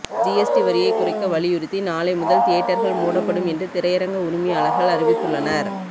GST வரியை குறைக்க வலியுறுத்தி நாளை முதல் தியேட்டர்கள் மூடப்படும் என்று திரையரங்க உரிமையாளர்கள அறிவித்துள்ளனர்